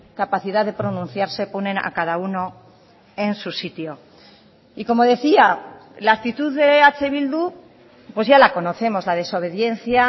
capacidad de pronunciarse ponen a cada uno en su sitio y como decía la actitud de eh bildu pues ya la conocemos la desobediencia